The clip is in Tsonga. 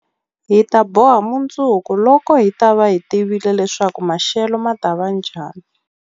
Hi ta boha mundzuku, loko hi ta va hi tivile leswaku maxelo ma ta va njhani?